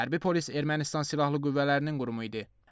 Hərbi polis Ermənistan Silahlı Qüvvələrinin qurumu idi.